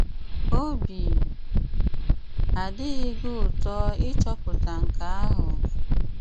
Óbì àdịghị gị ùtò ịchọ̀pụ̀tà nkè ahụ̀?